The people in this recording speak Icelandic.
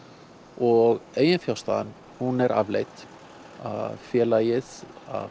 og eiginfjárstaðan hún er afleit félagið